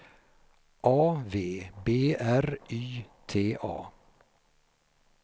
A V B R Y T A